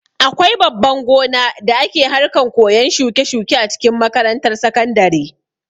Akwai babban gona da ake harkan koyan shuke-shuke a cikin makarantar sakandare.